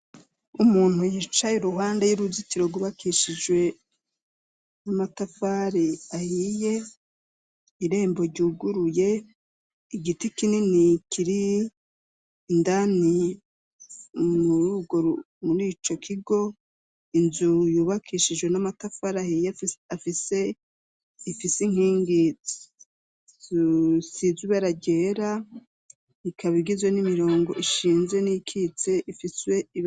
Umuntu yicaye uruhande y'uruzitiro gubakishijwe n'amatafari ahiye, irembo ryuguruye igiti kinini kiri indani rugo muri ico kigo. Inzu yubakishijwe n'amatafari ahiye afise ifise inkingi sizuberagera ikabigizwe n'imirongo ishinze n'ikitse ifiswe.